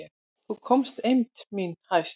Þá komst eymd mín hæst.